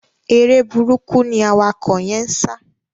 Eré burúkú ni awakọ̀ yẹ́n ń sá.